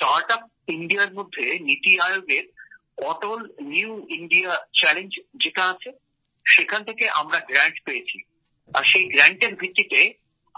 sir startup ইন্ডিয়ার মধ্যে Niti Aayog Atal new India challenge থেকে আমরা অনুদান পেয়েছি আর সেই অনুদানের ভিত্তিতে